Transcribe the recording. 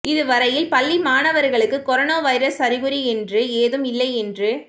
இதுவரையில் பள்ளி மாணவர்களுக்கு கொரோனா வைரஸ் அறிகுறி என்று ஏதும் இல்லை என்று